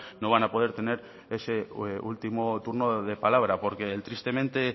no van a poder tener ese último turno de palabra porque el tristemente